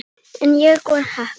En ég var heppin.